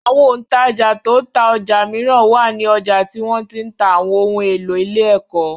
Àwọn òǹtajà tó ta ọjà mìíràn wà ní ọjà tí wọ́n ti ń ta àwọn ohun-èlò ilé kíkọ́.